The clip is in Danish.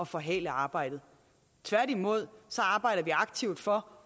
forhale arbejdet tværtimod arbejder vi aktivt for